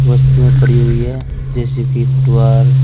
वस्तुए पड़ी हुई है जेसी भी --